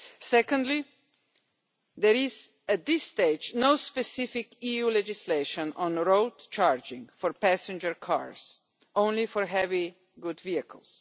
Secondly, there is at this stage no specific EU legislation on road charging for passenger cars, only for heavy goods vehicles.